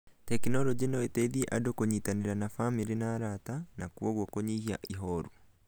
Tekinoronjĩ no ĩteithie andũ kũnyitanĩra na bamĩrĩ na arata, na kwoguo kũnyihia ihooru.